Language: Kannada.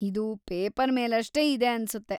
ಇದು ಪೇಪರ್‌ ಮೇಲಷ್ಟೇ ಇದೆ ಅನ್ಸುತ್ತೆ.